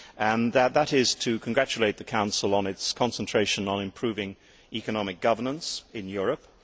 Firstly, I should like to congratulate the Council on its concentration on improving economic governance in Europe.